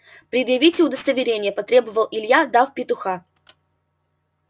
предъявите удостоверение потребовал илья дав петуха